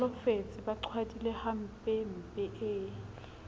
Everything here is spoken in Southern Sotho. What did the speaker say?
holofetse ba qhwadile hampempe e